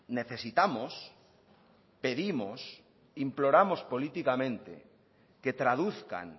necesitamos pedimos imploramos políticamente que traduzcan